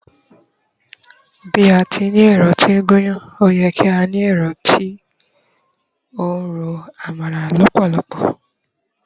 bi ati ni ẹrọ ti n gun iyán, o ye ká ni ẹrọ ti ro àmàlà lópòlopò